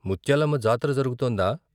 ముత్యాలమ్మ జాతర జరుగుతోందా?